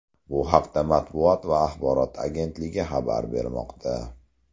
Bu haqda Matbuot va axborot agentligi xabar bermoqda .